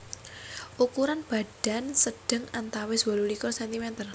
Ukuran badan sedheng antawis wolu likur cm